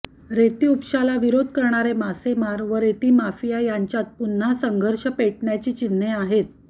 रेतीउपशाला विरोध करणारे मासेमार व रेती माफिया यांच्यात पुन्हा संघर्ष पेटण्याची चिन्हे आहेत